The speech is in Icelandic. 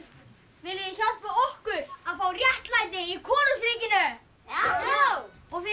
viljið þið hjálpa okkur að fá réttlæti í konungsríkinu já og fyrir